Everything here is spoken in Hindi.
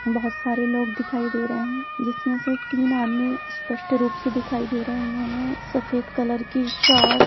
बहुत सारे लोग दिखाई दे रहे है जिसमे से तीन आदमी स्पष्ट रूप से दिखाई दे रहे उन्होंने सफेद कलर की शॉर्ट --